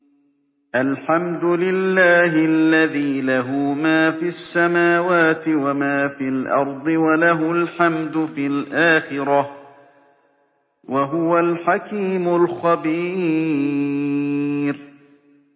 الْحَمْدُ لِلَّهِ الَّذِي لَهُ مَا فِي السَّمَاوَاتِ وَمَا فِي الْأَرْضِ وَلَهُ الْحَمْدُ فِي الْآخِرَةِ ۚ وَهُوَ الْحَكِيمُ الْخَبِيرُ